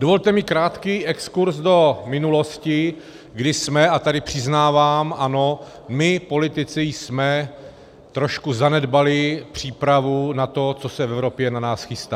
Dovolte mi krátký exkurz do minulosti, kdy jsme - a tady přiznávám, ano, my politici jsme trošku zanedbali přípravu na to, co se v Evropě na nás chystá.